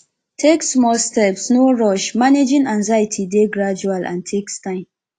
take small steps no rush managing anxiety dey gradual and takes time